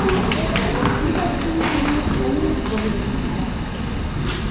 mito chii ne kanyip ko kero eng' sang